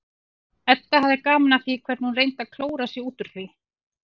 Edda hafði gaman af því hvernig hún reyndi að klóra sig út úr því.